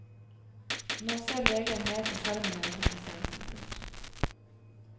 Nå ser legen mer på skjermen enn på pasienten. punktum